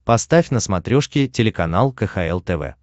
поставь на смотрешке телеканал кхл тв